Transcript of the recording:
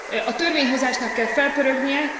A törvényhozásnak kell felpörögnie.